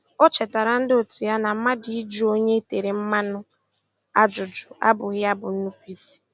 O chetara ndị otu ya na mmadụ ịjụ onye e tere mmanụ ajụjụ abụghị ya bụ nnupụisi